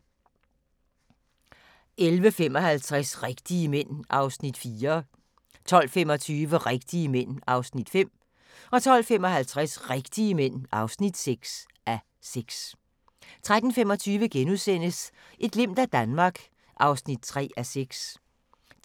11:55: Rigtige mænd (4:6) 12:25: Rigtige mænd (5:6) 12:55: Rigtige mænd (6:6) 13:25: Et glimt af Danmark (3:6)*